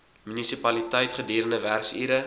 munisipaliteit gedurende werksure